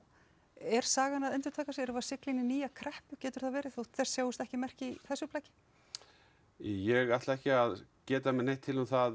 er sagan að endurtaka sig erum við að sigla inn í nýja kreppu getur það verið þó þess sjáist ekki merki í þessu plaggi ég ætla ekki að geta mér neitt til um það